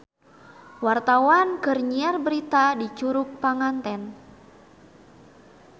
Wartawan keur nyiar berita di Curug Panganten